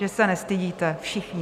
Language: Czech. Že se nestydíte, všichni.